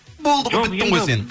болды ғой біттің ғой сен